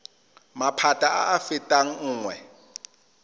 maphata a a fetang nngwe